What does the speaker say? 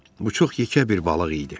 Bu çox yekə bir balıq idi.